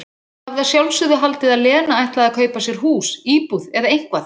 Hafði að sjálfsögðu haldið að Lena ætlaði að kaupa sér hús, íbúð, eða eitthvað.